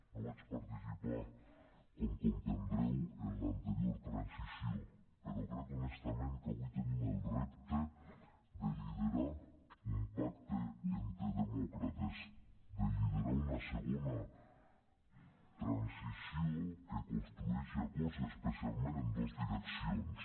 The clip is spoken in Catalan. no vaig participar com deveu comprendre en l’anterior transició però crec honestament que avui tenim el repte de liderar un pacte entre demòcrates de liderar una segona transició que construeixi acords especialment en dos direccions